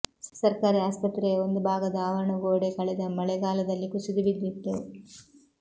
ಸರ್ಕಾರಿ ಆಸ್ಪತ್ರೆಯ ಒಂದು ಭಾಗದ ಆವರಣ ಗೋಡೆ ಕಳೆದ ಮಳೆಗಾಲದಲ್ಲಿ ಕುಸಿದು ಬಿದ್ದಿತ್ತು